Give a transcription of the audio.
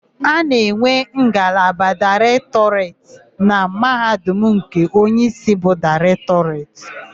A na-enwe ngalaba Daịrektọreti na Mahadum nke onyeísí bụ Daịrektọ.